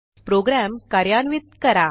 program कार्यान्वित करा